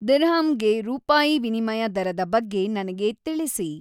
dirham ಗೆ ರೂಪಾಯಿ ವಿನಿಮಯ ದರದ ಬಗ್ಗೆ ನನಗೆ ತಿಳಿಸಿ